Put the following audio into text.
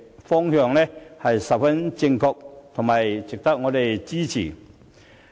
這個方向十分正確，值得我們支持。